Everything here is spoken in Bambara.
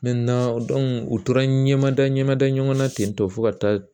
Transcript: u tora n ɲɛmada ɲɛmada ɲɔgɔnna ten tɔ ka taa